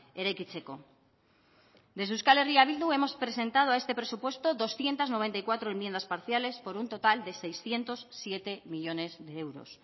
eraikitzeko desde euskal herria bildu hemos presentado a este presupuesto doscientos noventa y cuatro enmiendas parciales por un total de seiscientos siete millónes de euros